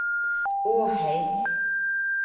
Åheim